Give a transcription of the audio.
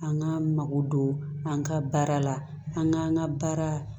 An ka mago don an ka baara la an k'an ka baara